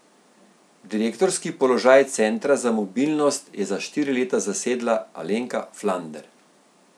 Direktorski položaj centra za mobilnost je za štiri leta zasedla Alenka Flander.